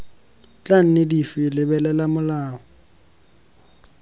tla nne dife lebelela molao